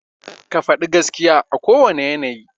Ka faɗi gaskiya a kowane yanayi.